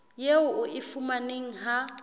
eo o e fumanang ha